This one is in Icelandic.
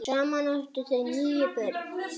Saman áttu þau níu börn.